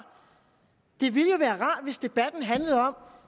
det ville jo være rart hvis debatten handlede om